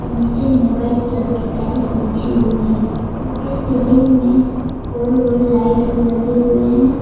और नीचे में वाइट कलर की टाइल्स बिछी हुई है इसके सीलिंग में गोल गोल लाइट भी लगे हुए हैं।